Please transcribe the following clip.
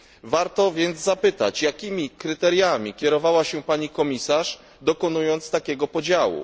Warto więc zapytać, jakimi kryteriami kierowała się pani komisarz dokonując takiego podziału.